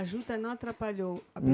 A juta não atrapalhou?